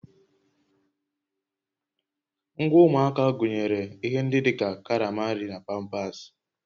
Ngwa ụmụaka gụnyere ihe ndị dị ka karama nri na pampasị